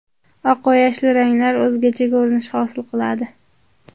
Oq va yashil ranglar o‘zgacha ko‘rinish hosil qiladi.